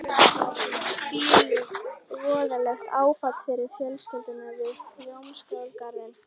Hvílíkt voðalegt áfall fyrir fjölskylduna við Hljómskálagarðinn.